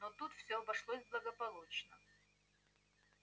но тут всё обошлось благополучно